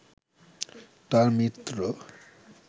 তার মিত্র